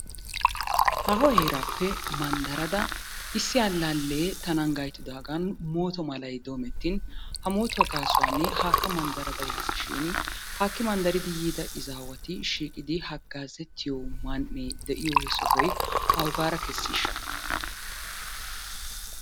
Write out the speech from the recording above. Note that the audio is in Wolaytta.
Haaho heeraappe mandarada issi alaalee tanan gayttidaagan mooto malay doometin ha mootuwa gaasuwan haaka mandarada yaasishin haakki mandarida izaawati shiiqidi hagaazettiyo man'ee de'iyo he sohoy awugaara kesiisha?